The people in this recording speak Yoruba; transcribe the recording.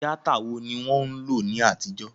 Tíátà wo ni wọ́n ń lò ní àtijó?